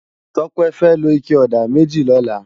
Tope fè ló iké òdá mèjí lòlá